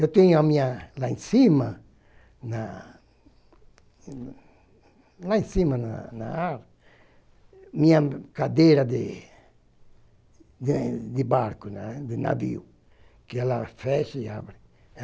Eu tenho a minha lá em cima, na lá em cima, na na minha cadeira de de de barco, de navio, que ela fecha e abre.